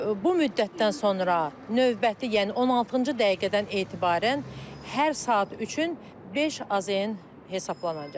Bu müddətdən sonra növbəti, yəni 16-cı dəqiqədən etibarən hər saat üçün 5 AZN hesablanacaqdır.